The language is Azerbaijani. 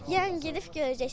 Yəni gedib görəcəksən.